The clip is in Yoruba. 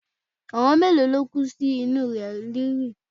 Àwọn mélòó ló kú sínú ilẹ̀ ríri?